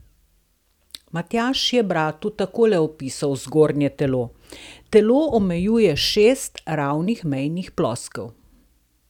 Matjaž je bratu takole opisal zgornje telo: "Telo omejuje šest ravnih mejnih ploskev.